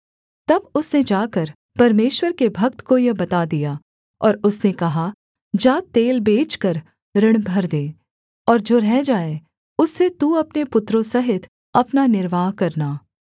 तब उसने जाकर परमेश्वर के भक्त को यह बता दिया और उसने कहा जा तेल बेचकर ऋण भर दे और जो रह जाए उससे तू अपने पुत्रों सहित अपना निर्वाह करना